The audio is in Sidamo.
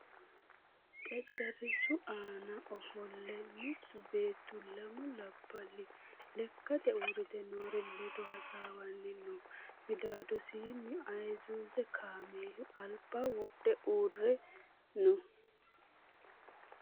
Xexxerisu aana offole mittu beettu lammu labbali lekkate uuritte noori leddo hasawani noo middadosini ayizuze kaammelu alibba wodhe uurre noo